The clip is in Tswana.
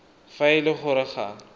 fa e le gore ga